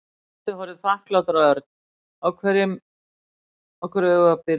Tóti horfði þakklátur á Örn. Á hverju eigum við að byrja?